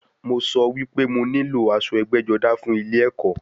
Mo sọ wípé mo nílò aṣọ ẹgbẹ́-jọdá fún ilẹ ẹ̀kọ́.